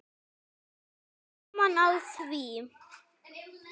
Gaman af því.